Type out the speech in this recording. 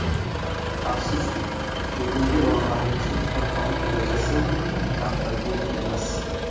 Afsuski, bugungi bolalarimizning kitobxonlik darajasi maqtagulik emas.